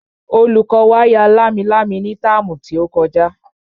Olùkọ́ wa ya lámilámi ní táàmù tí ó kọjá